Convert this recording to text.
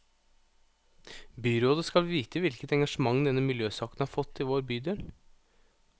Byrådet skal vite hvilket engasjement denne miljøsaken har fått i vår bydel.